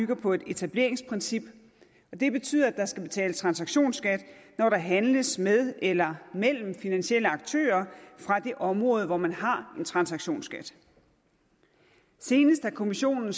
på et etableringsprincip og det betyder at der skal betales transaktionsskat når der handles med eller mellem finansielle aktører fra det område hvor man har en transaktionsskat senest har kommissionen